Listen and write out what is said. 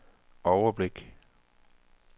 overblik